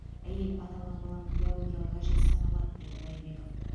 әйел аталған баланың биологиялық әжесі саналады деді байбеков